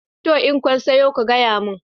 Toh. In kun soya ku gayamin